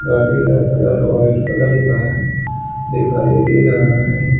गाड़ी का colour white colour का दिखाई दे रहा है।